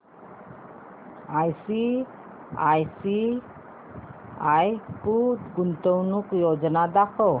ICICI Pru गुंतवणूक योजना दाखव